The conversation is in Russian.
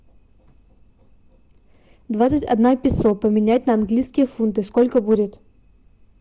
двадцать одна песо поменять на английские фунты сколько будет